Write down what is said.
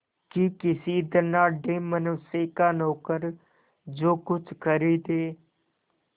कि किसी धनाढ़य मनुष्य का नौकर जो कुछ खरीदे